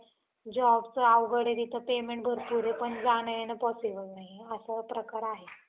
jobचं अवघड आहे तिथं payment पण जाणं येणं possible नाही. असा प्रकार आहे.